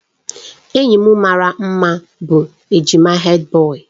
Enyi m maara mma bụ ejima Hèdbọyi.